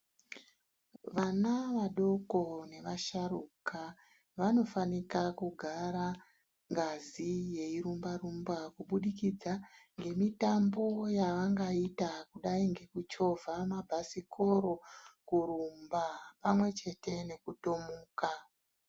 Vana vadoko nevasharuka vanofanika kugara ngazi yei rumba rumba kuburikidza ngemitambo yavangaita kudai nekuchovha mabhasikoro kurumba pamwe chete nekutomuka.